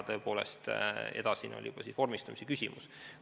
Tõepoolest, edasine oli juba vormistamise küsimus.